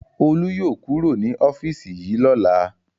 Olú yóò kúrò ní ọ́fíísì yìí lọ́la!